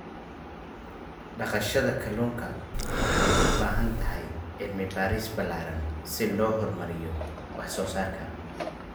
daqashada kalunka waxay u baahan tahay cilmi baaris ballaaran si loo horumariyo wax soo saarka.